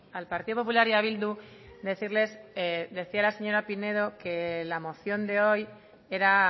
al partido popular y a bildu decirles decía la señora pinedo que la moción de hoy era